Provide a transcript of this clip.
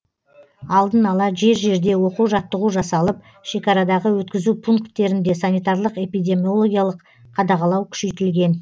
алдын ала жер жерде оқу жаттығу жасалып шекарадағы өткізу пункттерінде санитарлық эпидемиологиялық қадағалау күшейтілген